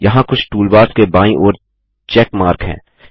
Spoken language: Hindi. यहाँ कुछ टूलबार्स के बाईं ओर चेक मार्क है